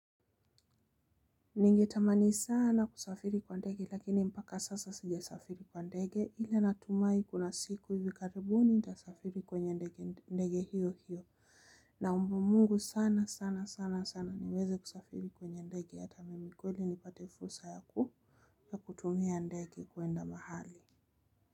Ningetamani sana kusafiri kwa ndege lakini mpaka sasa sijasafiri kwa ndege ile natumai kuna siku hivi karibu nitasafiri kwenye ndege hiyo hiyo. Naomba Mungu sana sana sana sana niweze kusafiri kwenye ndege, hata mimi kweli nipate fursa ya kutumia ndege kwenda mahali.